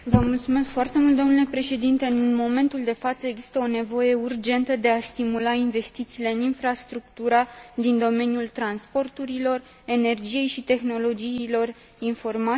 În momentul de față există o nevoie urgentă de a stimula investițiile în infrastructura din domeniul transporturilor, al energiei și al tehnologiei informațiilor și comunicațiilor.